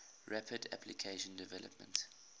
rapid application development